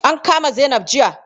An kama Zainab jiya.